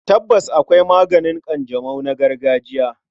Tabbas, akwai maganin ƙanjamau na gargajiya.